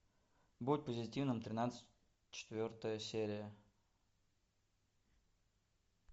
будь позитивным тринадцать четвертая серия